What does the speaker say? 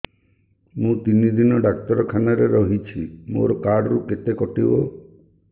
ମୁଁ ତିନି ଦିନ ଡାକ୍ତର ଖାନାରେ ରହିଛି ମୋର କାର୍ଡ ରୁ କେତେ କଟିବ